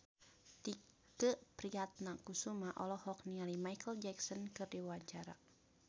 Tike Priatnakusuma olohok ningali Micheal Jackson keur diwawancara